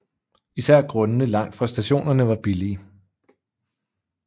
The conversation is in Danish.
Især grundene langt fra stationerne var billige